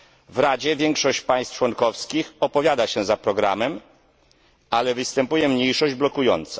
W Radzie większość państw członkowskich opowiada się za programem, ale występuje mniejszość blokująca.